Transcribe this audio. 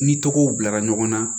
Ni tɔgɔw bilara ɲɔgɔnna